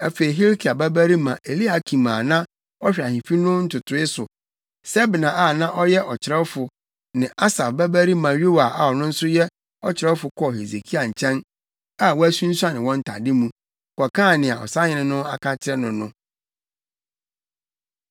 Afei Hilkia babarima Eliakim a na ɔhwɛ ahemfi no ntotoe so, Sebna a na ɔyɛ ɔkyerɛwfo ne Asaf babarima Yoa a ɔno nso yɛ ɔkyerɛwfo kɔɔ Hesekia nkyɛn a wɔasunsuane wɔn ntade mu, kɔkaa nea ɔsahene no aka akyerɛ no no.